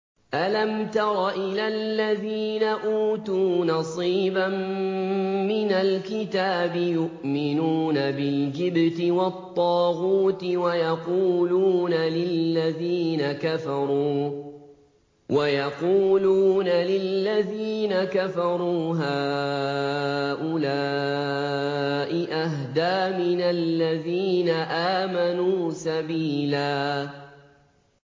أَلَمْ تَرَ إِلَى الَّذِينَ أُوتُوا نَصِيبًا مِّنَ الْكِتَابِ يُؤْمِنُونَ بِالْجِبْتِ وَالطَّاغُوتِ وَيَقُولُونَ لِلَّذِينَ كَفَرُوا هَٰؤُلَاءِ أَهْدَىٰ مِنَ الَّذِينَ آمَنُوا سَبِيلًا